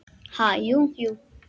Ha, jú, jú